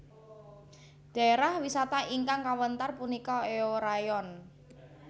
Dhaérah wisata ingkang kawéntar punika Eorayeon